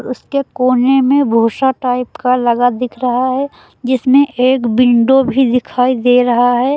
उसके कोने में भूसा टाइप का लगा दिख रहा है जिसमें एक विंडो भी दिखाई दे रहा है।